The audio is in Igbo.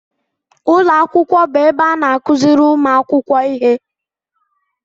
Ụlọ akwụkwọ bụ ebe a na-akụziri ụmụ akwụkwọ ihe